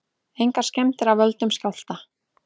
Engar skemmdir af völdum skjálfta